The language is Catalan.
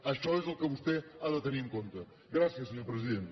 això és el que vostè ha de tenir en compte gràcies senyor president